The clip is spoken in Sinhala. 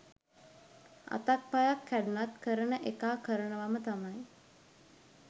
අතක් පයක් කැඩුනත් කරන එකා කරනවම තමයි